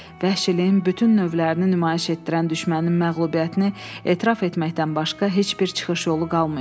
Vəhşiliyin bütün növlərini nümayiş etdirən düşmənin məğlubiyyətini etiraf etməkdən başqa heç bir çıxış yolu qalmayıb.